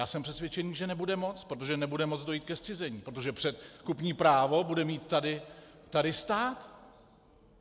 Já jsem přesvědčený, že nebude moct, protože nebude moct dojít ke zcizení, protože předkupní právo bude mít tady stát.